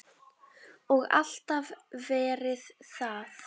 Og alltaf verið það.